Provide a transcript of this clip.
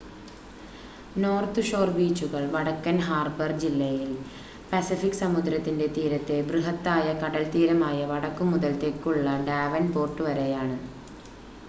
north Shore ബീച്ചുകൾ വടക്കൻ Harbour ജില്ലയിൽ പസഫിക് മഹാസമുദ്രത്തിന്റെ തീരത്തെ ബൃഹത്താ‍യ കടൽത്തീരമായ വടക്കുമുതൽ തെക്കുള്ള ഡാവൻ‌പോർട്ട് വരെയാണ്